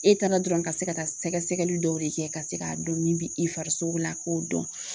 E taara dɔrɔn ka se ka taa sɛgɛsɛgɛli dɔw de kɛ ka se k'a dɔn min bi i farisogo la k'o dɔn